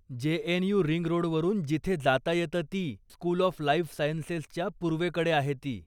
JNU. Ring रोडवरून जिथे जाता येतं ती, स्कूल ऑफ लाइफ सायन्सेसच्या पूर्वेकडे आहे ती.